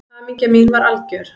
Hamingja mín var algjör.